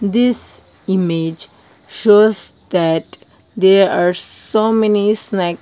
this image shows that there are so many snack.